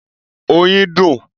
Oyin dùn.